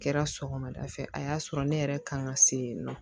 Kɛra sɔgɔmada fɛ a y'a sɔrɔ ne yɛrɛ kan ka se yen nɔ